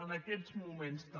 en aquests moments també